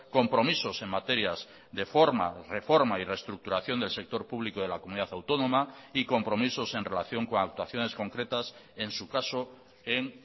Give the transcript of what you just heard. compromisos en materias de forma reforma y reestructuración del sector público de la comunidad autónoma y compromisos en relación con actuaciones concretas en su caso en